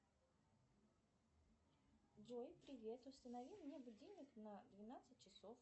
джой привет установи мне будильник на двенадцать часов